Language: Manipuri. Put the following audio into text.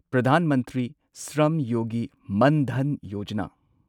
ꯄ꯭ꯔꯙꯥꯟ ꯃꯟꯇ꯭ꯔꯤ ꯁ꯭ꯔꯝꯌꯣꯒꯤ ꯃꯟ ꯙꯟ ꯌꯣꯖꯥꯅꯥ